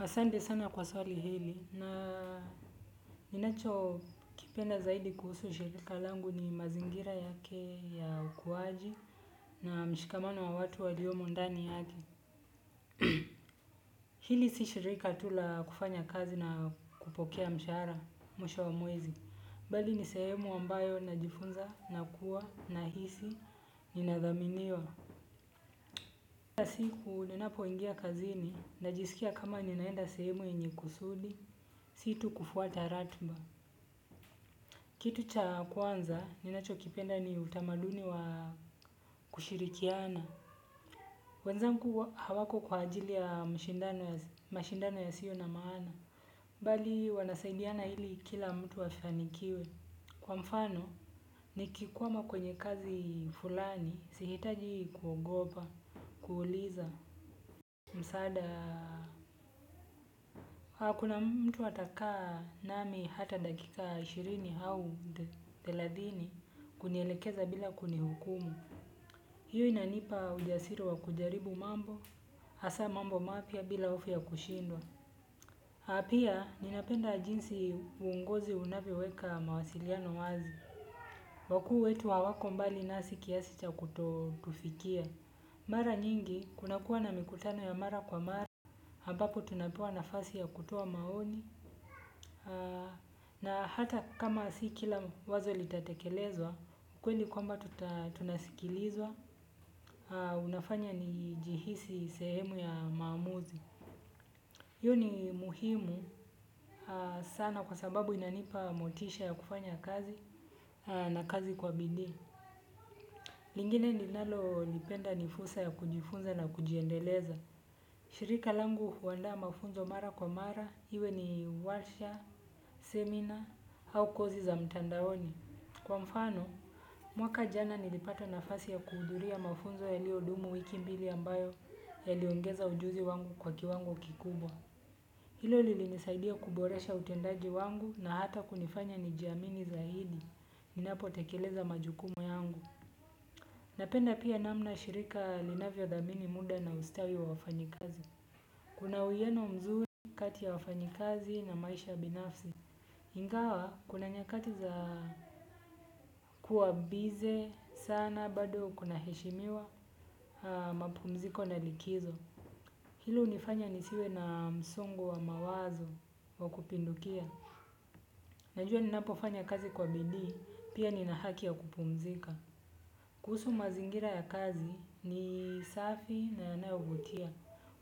Asante sana kwa swali hili na ninacho kipenda zaidi kuhusu shirika langu ni mazingira yake ya ukuwaji na mshikamano wa watu waliomo ndani yake. Hili si shirika tu la kufanya kazi na kupokea mshahara mwisho wa mwezi bali ni sehemu ambayo najifunza na kuwa ninahisi ninathaminiwa kila siku ninapoingia kazini najisikia kama ninaenda sehemu yenye kusudi, si tu kufuata ratiba. Kitu cha kwanza, ninacho kipenda ni utamaduni wa kushirikiana. Wenzangu hawako kwa ajili ya mashindano yasio na maana. Bali, wanasaidiana ili kila mtu afanikiwe. Kwa mfano, nikikwama kwenye kazi fulani, sihitaji kugopa, kuuliza. Msaada, kuna mtu atakaa nami hata dakika ishirini au thelathini kunielekeza bila kunihukumu. Hiyo inanipa ujasiri wa kujaribu mambo, hasa mambo mapya bila hofu ya kushindwa pia, ninapenda jinsi uongozi unavyoweka mawasiliano wazi. Wakuu wetu hawako mbali nasi kiasi cha kutufikia. Mara nyingi, kunakuwa na mikutano ya mara kwa mara ambapo tunapewa nafasi ya kutoa maoni na hata kama si kila wazo litatekelezwa ukweli kwamba tunasikilizwa unafanya nijihisi sehemu ya maamuzi hiyo ni muhimu sana kwa sababu inanipa motisha ya kufanya kazi na kazi kwa bidii lingine ninalolipenda ni fursa ya kujifunza na kujiendeleza. Shirika langu huandaa mafunzo mara kwa mara iwe ni warsha semina au kozi za mtandaoni kwa mfano mwaka jana nilipata nafasi ya kuhudhuria mafunzo yaliyodumu wiki mbili ambayo yaliongeza ujuzi wangu kwa kiwango kikubwa. Hilo lilinisaidia kuboresha utendaji wangu na hata kunifanya nijiamini zaidi ninapo tekeleza majukumu yangu. Napenda pia namna shirika linavyo thamini muda na ustawi wa wafanyikazi. Kuna uwiano mzuri kati ya wafanyikazi na maisha binafsi ingawa, kuna nyakati za kuwa busy, sana, bado kuna heshimiwa, mapumziko na likizo. Hilo hunifanya nisiwe na msongo wa mawazo wa kupindukia. Najua ninapo fanya kazi kwa bidii, pia nina haki ya kupumzika. Kuhusu mazingira ya kazi ni safi na yanayovutia.